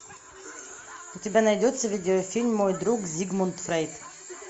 у тебя найдется видеофильм мой друг зигмунд фрейд